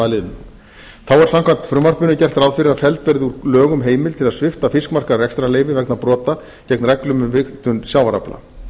liðnum þá er samkvæmt frumvarpinu gert ráð fyrir að felld verði úr lögum heimild til að svipta fiskmarkað rekstrarleyfi vegna brota gegn reglum um vigtun sjávarafla